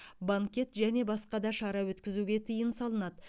банкет және басқа да шара өткізуге тыйым салынады